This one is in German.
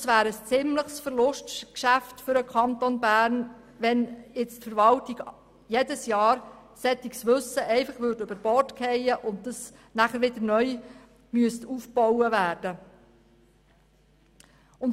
Es wäre ein ordentliches Verlustgeschäft für den Kanton Bern, wenn die Verwaltung jedes Jahr solches Wissen über Bord werfen würde und dieses jedes Jahr neu aufgebaut werden müsste.